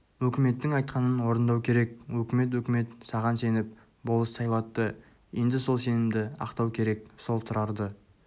өкіметтің айтқанын орындау керек өкімет-өкімет саған сеніп болыс сайлатты енді сол сенімді ақтау керек сол тұрарді